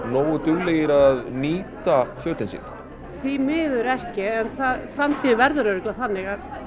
nógu duglegir að nýta fötin sín því miður ekki en framtíðin verður örugglega þannig